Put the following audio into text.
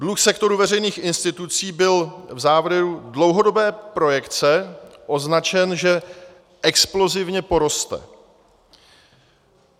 Dluh sektoru veřejných institucí byl v závěru dlouhodobé projekce označen, že explozivně poroste.